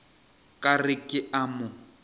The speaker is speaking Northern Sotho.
ka re ke a mo